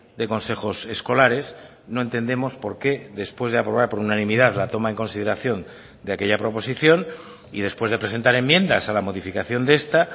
de consejos escolares no entendemos por qué después de aprobar por unanimidad la toma en consideración de aquella proposición y después de presentar enmiendas a la modificación de esta